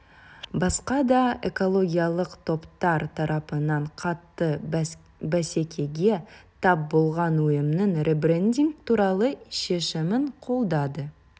басқа да экологиялық топтар тарапынан қатты бәсекеге тап болған ұйымның ребрендинг туралы шешімін қолдады